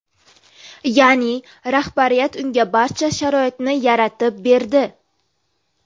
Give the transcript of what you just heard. Ya’ni, rahbariyat unga barcha sharoitni yaratib berdi.